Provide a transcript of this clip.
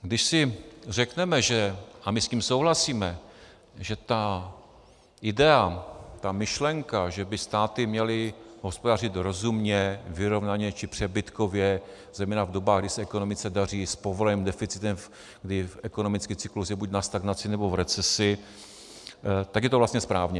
Když si řekneme - a my s tím souhlasíme, že ta idea, ta myšlenka, že by státy měly hospodařit rozumně, vyrovnaně či přebytkově, zejména v dobách, kdy se ekonomice daří, s povoleným deficitem, kdy ekonomický cyklus je buď na stagnaci, nebo v recesi, tak je to vlastně správně.